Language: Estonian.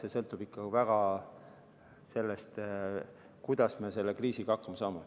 See sõltub ikka väga sellest, kuidas me selle kriisiga hakkama saame.